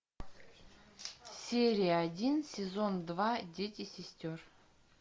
серия один сезон два дети сестер